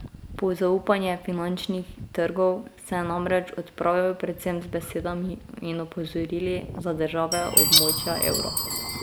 Po zaupanje finančnih trgov se je namreč odpravil predvsem z besedami in opozorili za države območja evra.